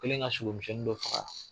O kɛlen ka sogo misɛnnin dɔ faga